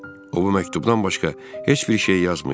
O bu məktubdan başqa heç bir şey yazmayıb.